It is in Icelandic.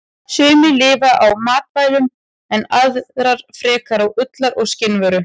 Sumar lifa á matvælum en aðrar frekar á ullar- og skinnavöru.